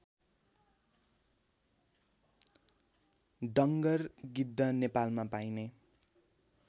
डङ्गर गिद्ध नेपालमा पाइने